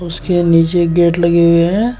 इसके नीचे गेट लगे हुए हैं।